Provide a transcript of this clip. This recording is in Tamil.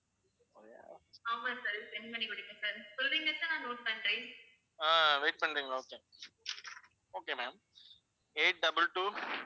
ஆஹ் wait பண்றீங்களா okay, okay ma'am. eight double two